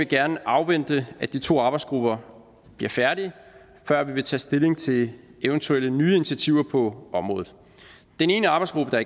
gerne afvente at de to arbejdsgrupper bliver færdige før vi vil tage stilling til eventuelle nye initiativer på området den ene arbejdsgruppe der